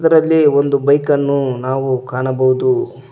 ಇದರಲ್ಲಿ ಒಂದು ಬೈಕನ್ನು ನಾವು ಕಾಣಬೋದು.